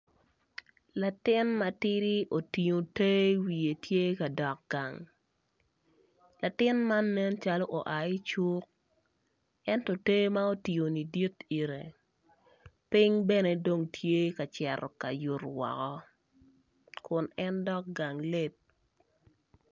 Latin matidi otingo ter i wiye tye ka dok gang latin man nen calo oa i cuk ento ter ma en otingo ni dit ite ping bene dong tye ka cito yuto woko kun en dok gang late.